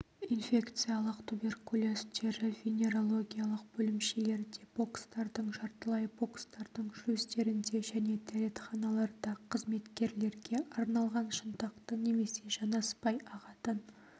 инфекциялық туберкулез тері-венерологиялық бөлімшелерде бокстардың жартылай бокстардың шлюздерінде және дәретханаларда қызметкерге арналған шынтақты немесе жанаспай ағатын